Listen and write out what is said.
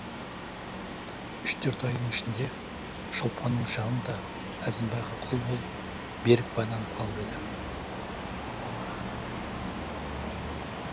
үш төрт айдың ішінде шолпанның жаны да әзімбайға құл болып берік байланып қалып еді